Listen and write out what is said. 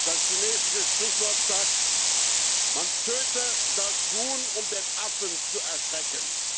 Ein chinesisches Sprichwort sagt Man töte das Huhn, um den Affen zu erschrecken.